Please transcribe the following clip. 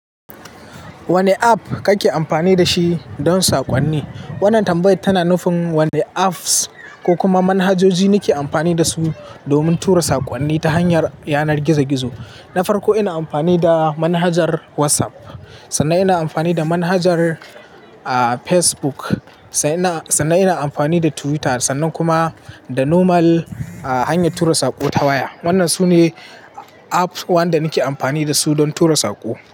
Wane app kake amfani da shi don saƙonni? Wannan tambaya tana nufin wane apps ko kuma manhajoji nake amfani da su domin tura saƙonni ta hanyar yanar gizo-gizo. Na farko, ina amfani da manhajar WhatsApp, sannan ina amfani da manhajar, Fcebook, sannan ina, sannan ina amfani da Twitter, sannan kuma da normal hanyar tura saƙo ta waya. Wannan su ne apps waɗanda nake amfani da su don tura sako.